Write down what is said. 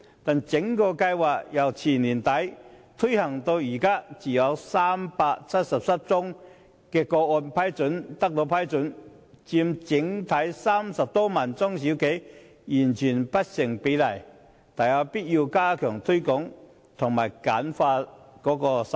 然而，該計劃由2016年年底推行至今，只有377宗個案獲批，與全港30多萬家中小企相比，獲批比率完全不成比例，大有必要加強推廣及簡化申請手續。